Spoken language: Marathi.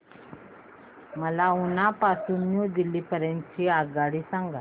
मला उना पासून न्यू दिल्ली पर्यंत ची आगगाडी सांगा